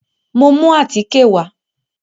Mo mú àtíkè wà.